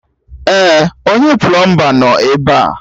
Èè, onye plọọmba nọ ebe a